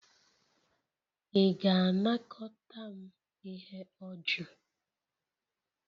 Ị ga-anakọta m ihe ọjọọ?